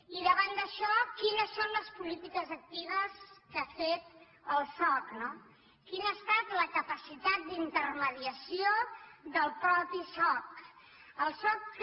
i davant d’això quines són les polítiques actives que ha fet el soc no quina ha estat la capacitat d’inter·mediació del mateix soc el soc que